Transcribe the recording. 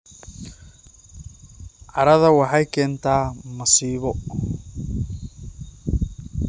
Cadhada waxay keentaa masiibo.